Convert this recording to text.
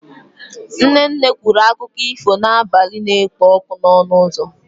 Nne nne kwuru akụkọ ifo n'abalị na-ekpo ọkụ n'ọnụ ụzọ.